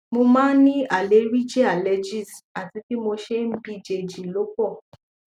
mo máa ń ní àleríjì allergies àti bí mo ṣe ń bíjèjì ló pọ